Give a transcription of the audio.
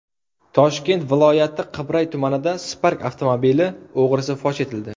Toshkent viloyati Qibray tumanida Spark avtomobili o‘g‘risi fosh etildi.